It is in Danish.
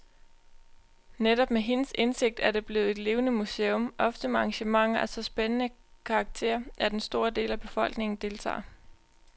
Netop med hendes indsigt er det blevet et levende museum, ofte med arrangementer af så spændende karakter, at en stor del af befolkningen deltager.